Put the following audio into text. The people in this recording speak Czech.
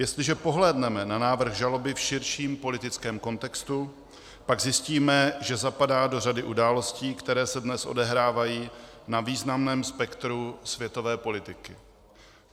Jestliže pohlédneme na návrh žaloby v širším politickém kontextu, pak zjistíme, že zapadá do řady událostí, které se dnes odehrávají na významném spektru světové politiky.